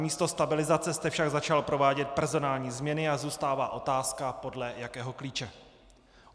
Namísto stabilizace jste však začal provádět personální změny a zůstává otázka, podle jakého klíče.